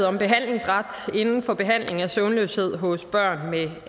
om behandlingsret inden for behandling af søvnløshed hos børn med